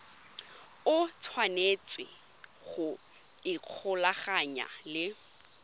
o tshwanetse go ikgolaganya le